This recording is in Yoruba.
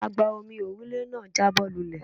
Agba-omi òrùlé náà jábọ́ lulẹ̀.